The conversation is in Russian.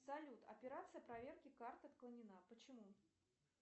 салют операция проверки карты отклонена почему